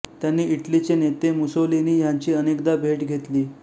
त्यांनी इटली चे नेते मुसोलिनी ह्यांची अनेकदा भेट घेतली